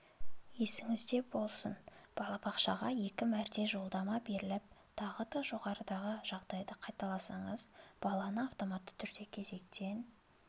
есіңізде болсын балабақшаға екі мәрте жолдама беріліп тағы да жоғарыдағы жағдайды қайталасаңыз баланы автоматты түрде кезектен